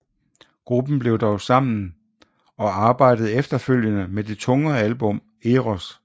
Gruppen blev dog sammen og arbejdede efterfølgende med det tungere album Eros